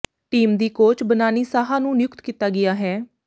team ਦੀ coach Banani Saha ਨੂੰ ਨਿਯੁਕਤ ਕੀਤਾ ਗਿਆ ਹੈ